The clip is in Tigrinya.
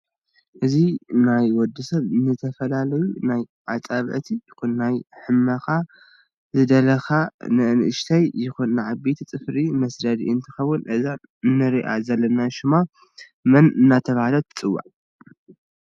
እዚ ናይ ወድሰብ ንዝተፈላላዩ ናይ ዓፃብዕቲ ይኩን ናይ ሕመካ ስዝደልካ እ ንነኣሽተይ ይኩን ንዓበይቲ ፅፍሪ መስደዲ እንትከውን እዛ እንርኣ ዘለና ሽማ መን እዳተሃለት ትፅዋዕ?